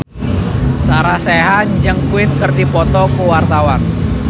Sarah Sechan jeung Queen keur dipoto ku wartawan